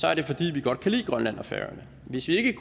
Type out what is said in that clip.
er det fordi vi godt kan lide grønland og færøerne hvis ikke